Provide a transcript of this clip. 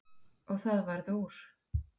Og það varð úr.